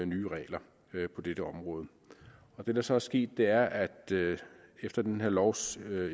nye regler på dette område det der så er sket er at efter den her lovs